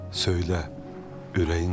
Söylə ürəyincəmi?